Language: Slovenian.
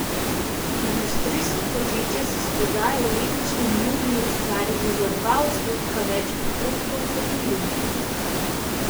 Industrijska podjetja so s prodajo v letošnjem juliju ustvarila za dva odstotka več prihodkov kot v juniju.